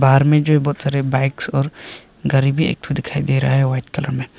बाहर में जो ये बहुत सारी बाइक्स और गाड़ी भी एक ठो दिखाई दे रहा है व्हाइट कलर में।